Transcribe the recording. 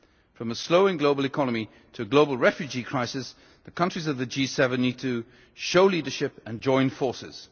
ever. From a slowing global economy to a global refugee crisis, the countries of the G7 need to show leadership and join forces.